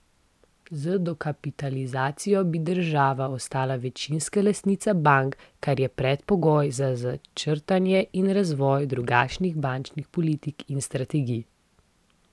Z dokapitalizacijo bi država ostala večinska lastnica bank, kar je predpogoj za začrtanje in razvoj drugačnih bančnih politik in strategij.